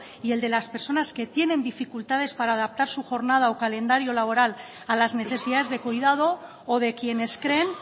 y el de las personas que tienen dificultades para adaptar su jornada o calendario laboral a las necesidades de cuidado o de quienes creen